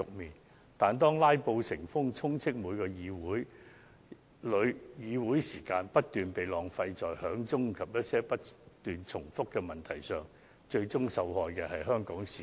然而，當"拉布"成風，議會時間不斷被浪費於響鐘及不斷重複提問上，最終受害的是香港市民。